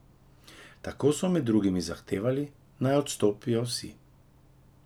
Tako so med drugim zahtevali, naj odstopijo vsi.